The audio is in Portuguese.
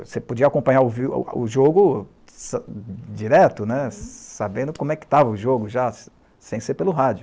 Você podia acompanhar o jogo direto, né, sabendo como estava o jogo, sem ser pelo rádio.